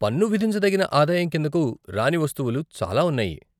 పన్ను విధించదగిన ఆదాయం కిందకు రాని వస్తువులు చాలా ఉన్నాయి.